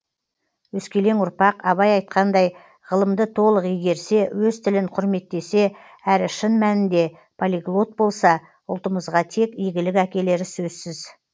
өскелең ұрпақ абай айтқандай ғылымды толық игерсе өз тілін құрметтесе әрі шын мәнінде полиглот болса ұлтымызға тек игілік әкелері сөзсіз